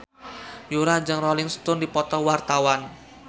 Yura jeung Rolling Stone keur dipoto ku wartawan